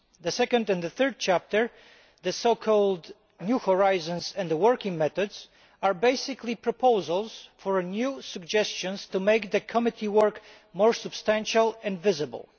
The second and third chapters, entitled New Horizons and Working Methods, are basically proposals for new suggestions to make the Committee's work more substantial and visible.